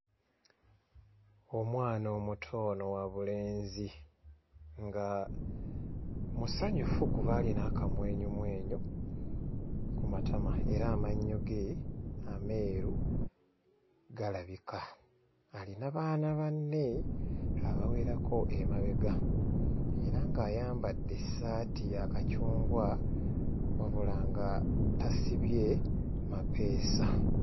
Omwana omuto ono wa bulenzi nga musanyufu kuba alina akamwenyumwenyu ku matama era amannyo ge ameeru galabika. Alina baana banne abawerako emabega era ng'ayambadde essaati ya kacungwa wabula nga tasibye mapeesa.